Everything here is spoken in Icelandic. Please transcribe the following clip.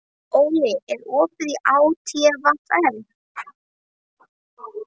Óli, er opið í ÁTVR?